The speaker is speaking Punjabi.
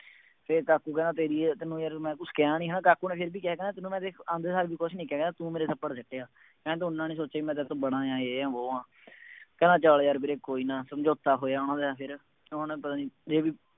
ਫੇਰ ਕਾਕੂ ਕਹਿੰਦਾ ਤੇਰੀ ਇਸ ਮੈਂ ਕਿਹਾ ਨਹੀਂ ਨਾ ਕਾਕੂ ਨੇ ਫੇਰ ਵੀ ਕਿਹਾ ਕਹਿੰਦਾ ਤੈਨੂੰ ਮੈਂ ਦੇਖ ਆਉਂਦੇ ਸਾਰ ਵੀ ਕੁੱਛ ਨਹੀਂ ਕਹਿ ਰਿਹਾ, ਤੂੰ ਮੇਰੇ ਨੰਬਰ ਦਿੱਤੇ ਆ, ਕਹਿੰਦਾ ਤੂੰ ਹੁਣ ਨਾ ਸੋਚੀ ਮੈਂ ਤੇਰੇ ਤੋਂ ਬੜਾਂ ਆਂ, ਮੈਂ ਯੇਹ ਹਾਂ ਵੋਹ ਹਾਂ, ਕਹਿੰਦਾ ਚੱਲ ਯਾਰ ਵੀਰੇ ਕੋਈ ਨਾ, ਸਮਝੌਤਾ ਹੋਇਆਂ ਉਹਨਾ ਦਾ, ਉਹਨੇ ਪਤਾ ਨਹੀਂ